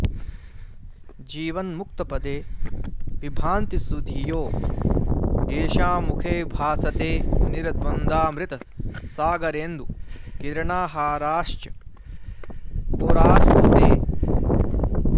जीवन्मुक्तपदे विभान्ति सुधियो येषां मुखे भासते निर्द्वन्द्वामृतसागरेन्दुकिरणाहाराश्चकोरास्तु ते